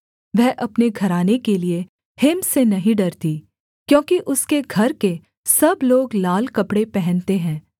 वह अपने घराने के लिये हिम से नहीं डरती क्योंकि उसके घर के सब लोग लाल कपड़े पहनते हैं